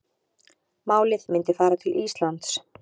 Málið myndi fara til Íslands